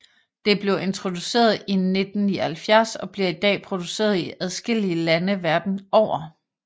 Det blev introduceret i 1979 og bliver i dag produceret i adskillige lande verden over